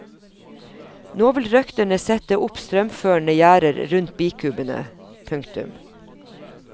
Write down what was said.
Nå vil røkterne sette opp strømførende gjerder rundt bikubene. punktum